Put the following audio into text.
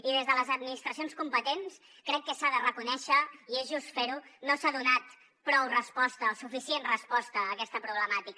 i des de les administracions competents crec que s’ha de reconèixer i és just fer ho no s’ha donat prou resposta o suficient resposta a aquesta problemàtica